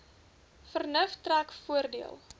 vernuf trek voordeel